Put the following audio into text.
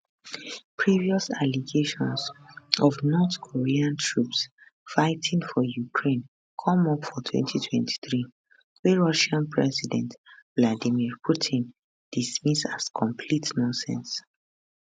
previous allegations of north korean troops fighting for ukraine come up for 2023 wey russia president vladimir putin dismiss as complete nonsense